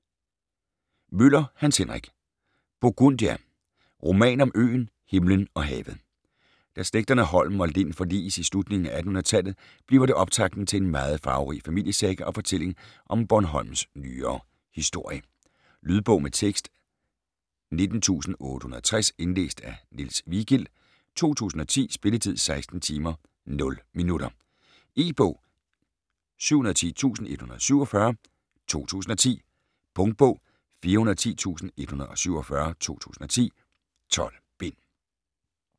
Møller, Hans Henrik: Burgundia: roman om øen, himlen og havet Da slægterne Holm og Lind forliges i slutningen af 1800-tallet bliver det optakten til en meget farverig familiesaga og fortælling om Bornholms nyere historie. Lydbog med tekst 19860 Indlæst af Niels Vigild, 2010. Spilletid: 16 timer, 0 minutter. E-bog 710147 2010. Punktbog 410147 2010. 12 bind.